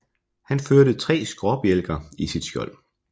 Han førte tre skråbjælker i sit skjold